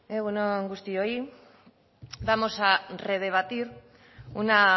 egun on guztioi vamos a redebatir una